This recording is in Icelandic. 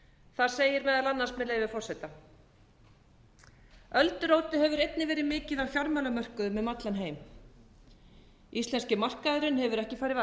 þar segir meðal annars með leyfi forseta öldurótið hefur einnig verið mikið á fjármálamörkuðum um allan heim íslenski markaðurinn hefur ekki farið varhluta af